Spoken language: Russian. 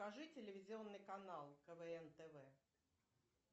покажи телевизионный канал квн тв